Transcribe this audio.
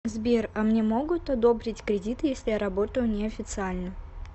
сбер а мне могут одобрить кредит если я работаю не официально